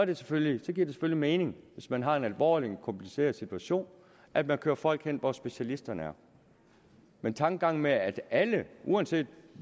det selvfølgelig mening hvis man har en alvorlig kompliceret situation at man kører folk hen hvor specialisterne er men tankegangen med at alle uanset